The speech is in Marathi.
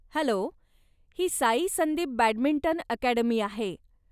हॅलो! ही साई संदीप बॅडमिंटन अकॅडमी आहे.